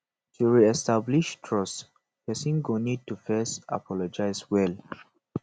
to reestablish trust person go need to first apologize well